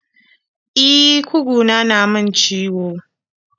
E, kuguna na min ciwo.